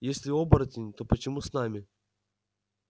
если оборотень то почему с нами